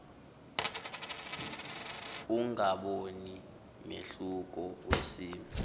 ungaboni mehluko wesimo